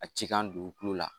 A ci kan dugukolo la